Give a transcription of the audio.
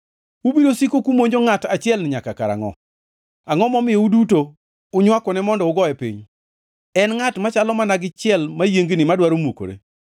Ubiro siko kumonjo ngʼat achielni nyaka karangʼo? Angʼo momiyo uduto unywakone mondo ugoye piny? En ngʼat machalo mana gi chiel mayiengni madwaro mukore.